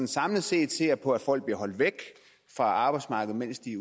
samlet set ser på at folk bliver holdt væk fra arbejdsmarkedet mens de